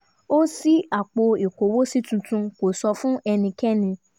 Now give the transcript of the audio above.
ó ṣí apò ìkówósí tuntun kó sọ fún ẹnikẹ́ni